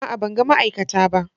A'a! Ban ga ma'aikata ba.